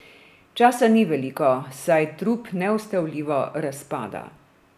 Časa ni veliko, saj trup neustavljivo razpada.